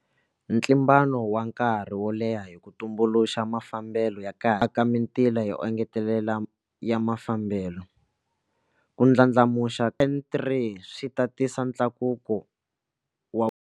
Ntlimbano wa nkarhi wo leha hi ku tumbuluxa mafambelo ya kahle aka mitila yo engetelela ya mafambelo, ku ndlandlamuxiwa ka N3 swi ta tisa ntlakuso wa.